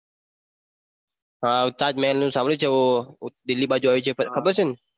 હા તાજમહેલ નું સાંભળ્યું છે એ દિલ્હી બાજુ આવ્યું છે ખબર છે ને